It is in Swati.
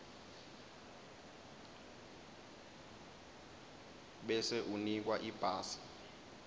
bese unikwa ibhasi